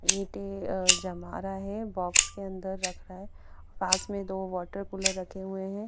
ईंटे अ जमा रहा है बॉक्स के अंदर रखा है पास में दो वॉटर कूलर रखे हुए हैं।